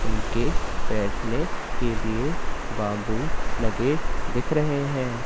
उनके बैठने के लिए बम्बू लगे दिख रहे है।